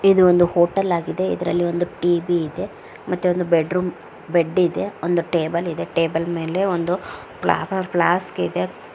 ಇದು ಒಂದು ಹೋಟೆಲ್ ಆಗಿದೆ ಇದ್ರಲ್ಲಿ ಒಂದು ಟಿ.ವಿ ಇದೆ ಮತ್ತೆ ಒಂದು ಬೆಡ್ರೂಮ್ ಬೆಡ್ ಇದೆ ಒಂದು ಟೇಬಲ್ ಇದೆ ಟೇಬಲ್ ಮೇಲೆ ಒಂದು ಫ್ಲವರ್ ಫ್ಲಾಸ್ಕ್ ಇದೆ.